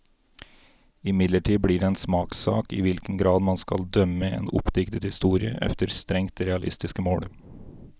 Imidlertid blir det en smakssak i hvilken grad man skal dømme en oppdiktet historie efter strengt realistiske mål.